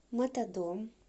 мотодом